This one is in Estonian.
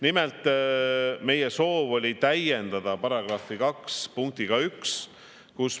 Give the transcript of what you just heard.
Nimelt, meie soov oli täiendada § 2 punktiga 1.